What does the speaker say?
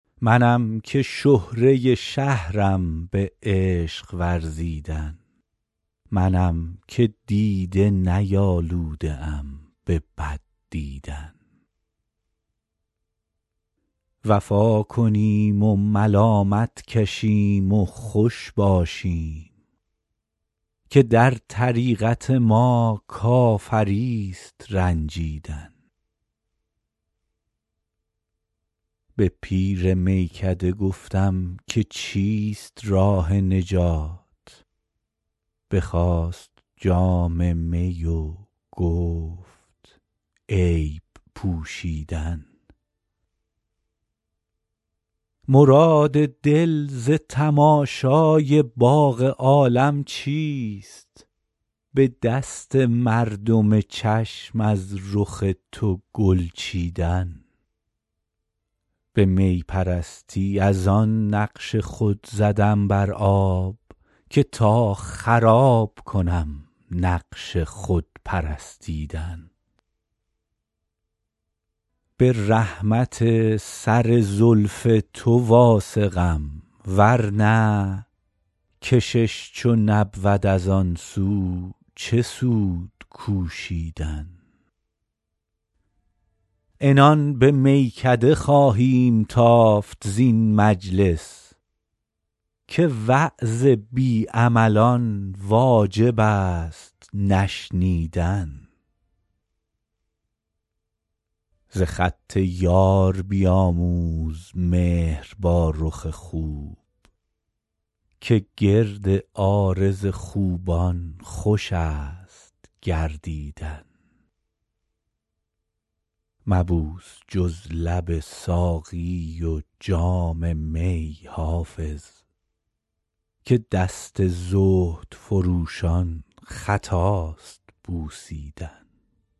منم که شهره شهرم به عشق ورزیدن منم که دیده نیالوده ام به بد دیدن وفا کنیم و ملامت کشیم و خوش باشیم که در طریقت ما کافریست رنجیدن به پیر میکده گفتم که چیست راه نجات بخواست جام می و گفت عیب پوشیدن مراد دل ز تماشای باغ عالم چیست به دست مردم چشم از رخ تو گل چیدن به می پرستی از آن نقش خود زدم بر آب که تا خراب کنم نقش خود پرستیدن به رحمت سر زلف تو واثقم ورنه کشش چو نبود از آن سو چه سود کوشیدن عنان به میکده خواهیم تافت زین مجلس که وعظ بی عملان واجب است نشنیدن ز خط یار بیاموز مهر با رخ خوب که گرد عارض خوبان خوش است گردیدن مبوس جز لب ساقی و جام می حافظ که دست زهد فروشان خطاست بوسیدن